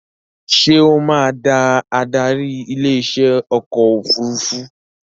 Ṣé ó máa da adarí ilé iṣẹ́ ọkọ̀ òfurufú